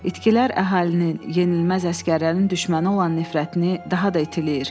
İtkilər əhalinin yenilməz əsgərlərin düşməni olan nifrətini daha da itiləyir.